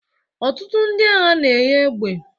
Ọtụtụ ndị agha na-enye egbe